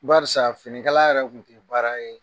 Barisa finikala yɛrɛ tun tɛ baara ye